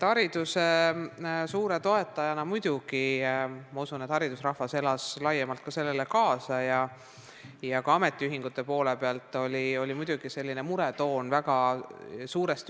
Hariduse suure toetajana ma muidugi usun, et haridusrahvas elas sellele laiemalt kaasa ja ka ametiühingute hulgas oli muretoon vägagi tuntav.